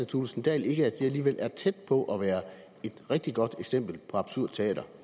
thulesen dahl ikke at det alligevel er tæt på at være et rigtig godt eksempel på absurd teater